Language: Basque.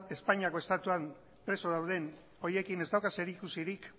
espainiako estatuan preso dauden horiekin ez dauka zerikusirik